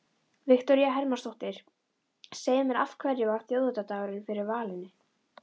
Viktoría Hermannsdóttir: Segðu mér af hverju varð þjóðhátíðardagurinn fyrir valinu?